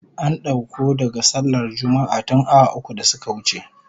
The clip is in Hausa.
An dauko daga sallar Juma'ah tun awa uku da suka wuce